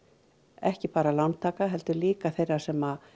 ekki bara lántaka heldur líka þeirra sem